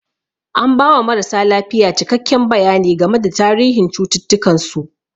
An ba wa marasa lafiya cikakken bayani game da tarihin cututtukan su.